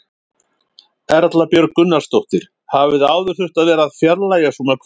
Erla Björg Gunnarsdóttir: Hafið þið áður þurft að vera að fjarlægja svona hvönn?